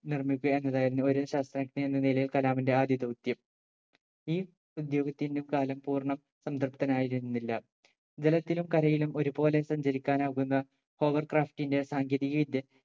നിർമിക്കുക എന്നതായിരുന്നു ഒരു ശാസ്ത്രജ്ഞൻ എന്ന നിലയിൽ കലാമിന്റെ ആദ്യ ദൗത്യം ഈ ദൗത്യത്തിന് കലാം പൂർണ സംതൃപ്തൻ ആയിരുന്നില്ല ജലത്തിലും കരയിലും ഒരുപോലെ സഞ്ചരിക്കാൻ ആകുന്ന power craft ന്റെ സാങ്കേതിക വിദ്യ